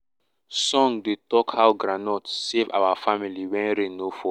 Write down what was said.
song dey talk how groundnut save our family when rain no fall.